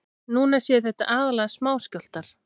Núna séu þetta aðallega smáskjálftar